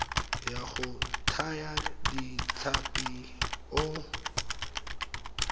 wa go thaya ditlhapi o